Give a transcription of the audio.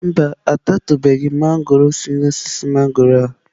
Mba,a tatụbeghi m mangọrọ si n'osisi mangọrọ a.